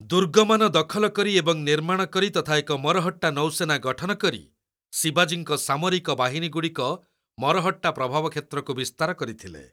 ଦୁର୍ଗମାନ ଦଖଲ କରି ଏବଂ ନିର୍ମାଣ କରି ତଥା ଏକ ମରହଟ୍ଟା ନୌସେନା ଗଠନ କରି, ଶିବାଜୀଙ୍କ ସାମରିକ ବାହିନୀଗୁଡ଼ିକ ମରହଟ୍ଟା ପ୍ରଭାବ କ୍ଷେତ୍ରକୁ ବିସ୍ତାର କରିଥିଲେ।